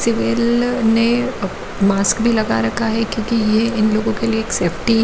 civil ने mask भी लगा रखा है क्योंकि यह इन लोगों के लिए एक सेफ्टी--